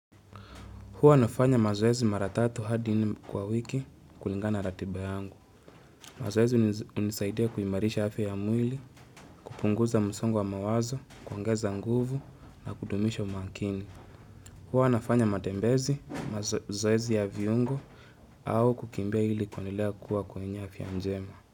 Huwa nafanya mazoezi mara tatu hadi nne kwa wiki kulingana ratiba angu. Mazoezi hunisaidia kuimarisha afya ya mwili, kupunguza msongo wa mawazo, kuongeza nguvu na kudumisha umakini. Huwa nafanya matembezi, mazoezi ya viungo au kukimbia ili kuendelea kuwa kwenye afya njema.